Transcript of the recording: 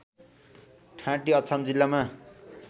ठाँटी अछाम जिल्लामा